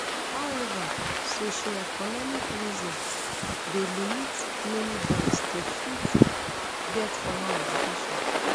however socioeconomic reason dey limit many boys to fit um get formal education